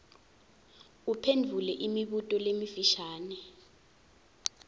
uphendvule imibuto lemifisha